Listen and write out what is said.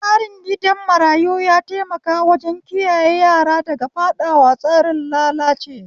Tsarin gidan marayu ya taimaka wajen kiyaye yara daga faɗawa tsarin lalace